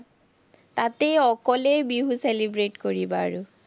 তাতে অকলে বিহু celebrate কৰিবা আৰু।